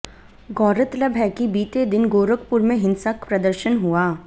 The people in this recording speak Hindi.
गौरतलब है कि बीते दिन गोरखपुर में हिंसक प्रदर्शन हुआ